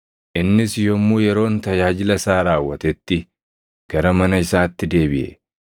Innis yommuu yeroon tajaajila isaa raawwatetti gara mana isaatti deebiʼe.